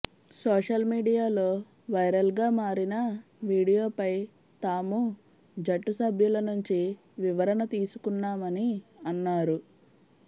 social మీడియాలో వైరల్గా మారిన వీడియోపై తాము జట్టు సభ్యుల నుంచి వివరణ తీసుకున్నామని అన్నారు